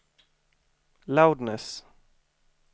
loudness